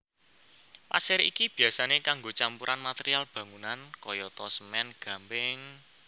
Pasir iki biyasané kanggo campuran material bangunan kayata semèn gamping